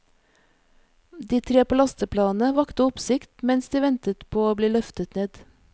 De tre på lasteplanet vakte oppsikt mens de ventet på å bli løftet ned.